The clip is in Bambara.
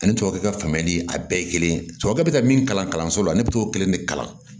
Ani tubabu ka faamuyali a bɛɛ ye kelen tubabukɛ bɛ ka min kalan kalanso la ne bɛ t'o kelen de kalan